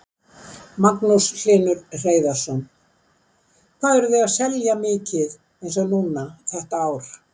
Magnús Hlynur Hreiðarsson: Hvað eruð þið að selja mikið eins og núna þetta ár?